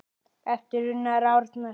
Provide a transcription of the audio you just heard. eftir Unnar Árnason